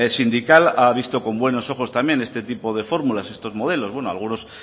sindical ha visto con buenos ojos también este tipo de fórmulas estos modelos bueno algunos